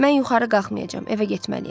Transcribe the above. Mən yuxarı qalxmayacam, evə getməliyəm.